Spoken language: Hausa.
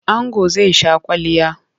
Ango zai sha kwalliya.